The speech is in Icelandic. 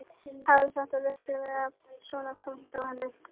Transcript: Hafði þetta virkilega legið svona þungt á henni?